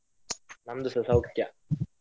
ನಮ್ದುಸ ಸೌಖ್ಯ.